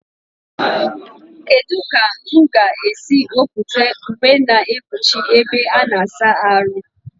Kedụ ka mụ ga esi wepụta uwe na ekpuchi ebe a-na asa arụ?